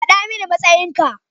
Faɗa mani matsayin ka.